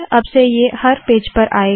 अब से ये हर पेज पर आएगा